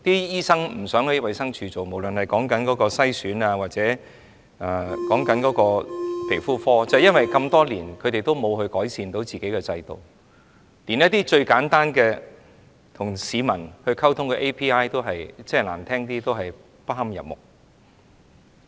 醫生不想在衞生署工作，無論是遺傳篩選服務或皮膚科，因為這麼多年署方沒有改善自己的制度，連一些最簡單跟市民溝通的 API ，說得難聽一點，也不堪入目。